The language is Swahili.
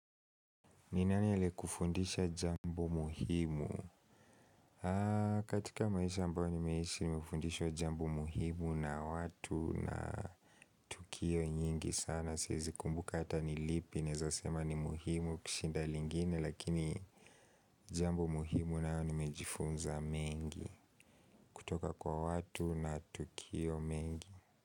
Ni nani ali kufundisha jambo muhimu? Katika maisha ambayo nimeishi nimefundishwa jambo muhimu na watu na tukio nyingi sana. Siezi kumbuka hata nilipi naezasema ni muhimu kushinda lingine lakini jambo muhimu nayo nimejifunza mengi kutoka kwa watu na tukio mengi.